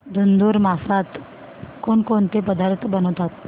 धुंधुर मासात कोणकोणते पदार्थ बनवतात